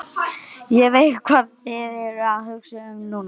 Ég veit, hvað þið eruð að hugsa um núna.